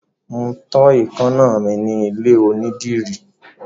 Mo tọ́ èékáná mi ní ilé onídìrí.